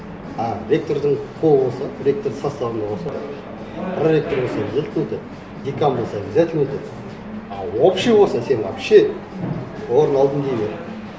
а ректордың қолы болса ректор составында болса проректор болса обязательно өтеді декан болса обязательно өтеді а общий болса сен вообще орын алдым дей бер